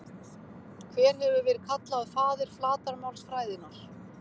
Hver hefur verið kallaður faðir flatarmálsfræðinnar?